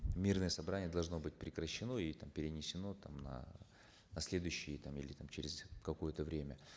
мирное собрание должно быть прекращено и там перенесено там на на следующие там или там через какое то время